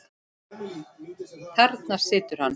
Þarna situr hann.